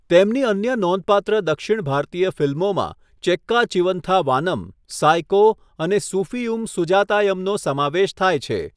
તેમની અન્ય નોંધપાત્ર દક્ષિણ ભારતીય ફિલ્મોમાં ચેક્કા ચિવંથા વાનમ, સાયકો અને સુફીયુમ સુજાતાયમનો સમાવેશ થાય છે.